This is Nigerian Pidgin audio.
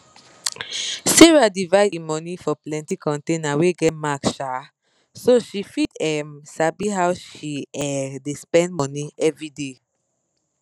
sarah divide e money for plenti container wey get mark um so she fit um sabi how she um dey spend money everyday